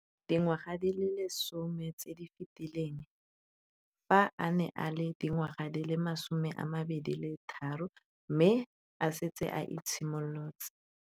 Dingwaga di le 10 tse di fetileng, fa a ne a le dingwaga di le 23 mme a setse a itshimoletse